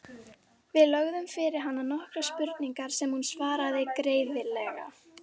Við lögðum fyrir hana nokkrar spurningar sem hún svaraði greiðlega.